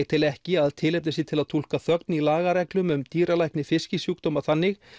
tel ekki að tilefni sé til að túlka þögn í lagareglum um dýralækni fiskisjúkdóma þannig